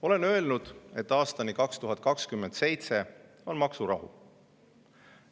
Olen öelnud, et aastani 2027 on maksurahu.